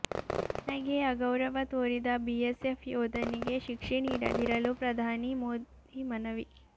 ತನಗೆ ಅಗೌರವ ತೋರಿದ ಬಿಎಸ್ಎಫ್ ಯೋಧನಿಗೆ ಶಿಕ್ಷೆ ನೀಡದಿರಲು ಪ್ರಧಾನಿ ಮೋದಿ ಮನವಿ